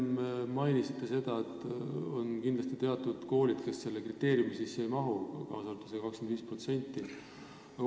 Te enne mainisite seda, et on kindlasti teatud koolid, kes selle kriteeriumi sisse ei mahu, ma pean silmas seda 25%.